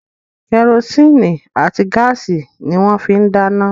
Kẹrosíìnì àti gáàsì ni wọ́n fín ń dáná